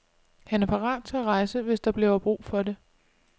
Han er parat til at rejse, hvis der bliver brug for det.